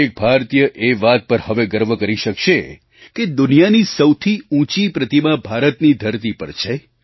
દરેક ભારતીય એ વાત પર હવે ગર્વ કરી શકશે કે દુનિયાની સૌથી ઊંચી પ્રતિમા ભારતની ધરતી પર છે